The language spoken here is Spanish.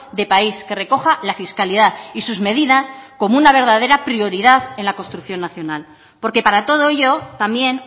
de país que recoja la fiscalidad y sus medidas como una verdadera prioridad en la construcción nacional porque para todo ello también